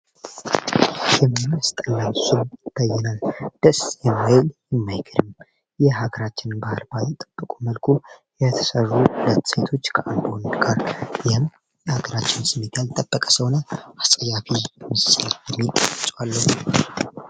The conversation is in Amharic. የመንስ ጠላ ስብ ተይናል ደስ የማይል ይማይክርም ይህ ሀግራችን ባህልባ የጠበቁ መልኩ የተሰሩ ለተሴቶች ከአንድሆንድ ጋር ቢህም ሀገራችን ስሜጋያል ጠበቀ ሰሆነ አፀያፊ ምስያ የሚጠጫለነ